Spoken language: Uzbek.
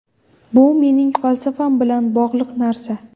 Bu mening falsafam bilan bog‘liq narsa”.